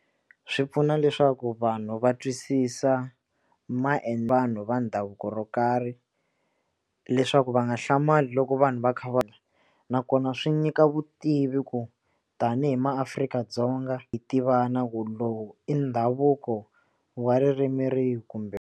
Swi pfuna leswaku vanhu va twisisa vanhu va ndhavuko ro karhi leswaku va nga hlamali loko vanhu va kha va nakona swi nyika vutivi ku tanihi maAfrika-Dzonga hi tivana ku lowu i ndhavuko wa ririmi rihi kumbe.